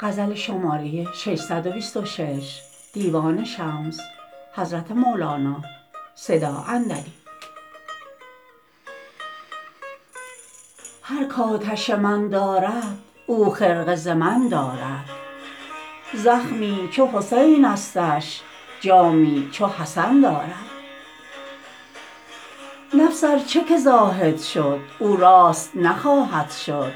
هر کآتش من دارد او خرقه ز من دارد زخمی چو حسینستش جامی چو حسن دارد نفس ار چه که زاهد شد او راست نخواهد شد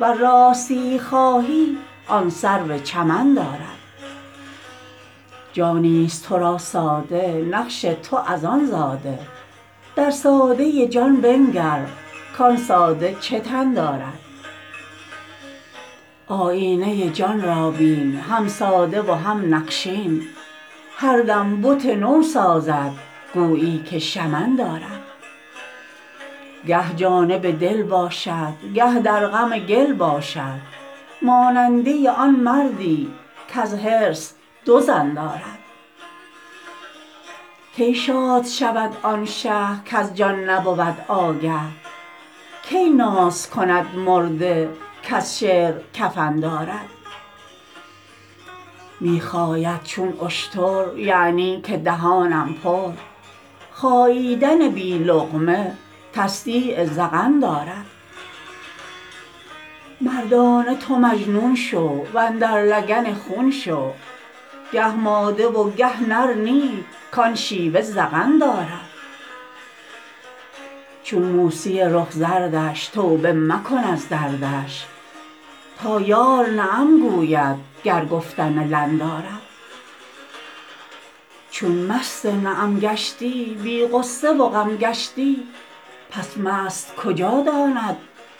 ور راستیی خواهی آن سرو چمن دارد جانیست تو را ساده نقش تو از آن زاده در ساده جان بنگر کان ساده چه تن دارد آیینه جان را بین هم ساده و هم نقشین هر دم بت نو سازد گویی که شمن دارد گه جانب دل باشد گه در غم گل باشد ماننده آن مردی کز حرص دو زن دارد کی شاد شود آن شه کز جان نبود آگه کی ناز کند مرده کز شعر کفن دارد می خاید چون اشتر یعنی که دهانم پر خاییدن بی لقمه تصدیق ذقن دارد مردانه تو مجنون شو و اندر لگن خون شو گه ماده و گه نر نی کان شیوه زغن دارد چون موسی رخ زردش توبه مکن از دردش تا یار نعم گوید گر گفتن لن دارد چون مست نعم گشتی بی غصه و غم گشتی پس مست کجا داند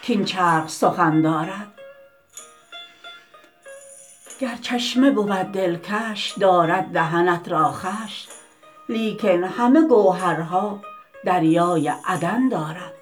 کاین چرخ سخن دارد گر چشمه بود دلکش دارد دهنت را خوش لیکن همه گوهرها دریای عدن دارد